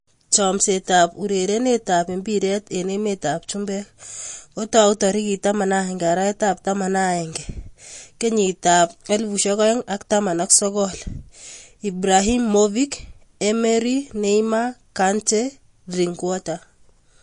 Chomset ab urerenet ab mbiret eng emet ab chumbek kotaai tarikit 11.11.2019: Ibrahimovic, Emery, Neymar, Kante, Drinkwater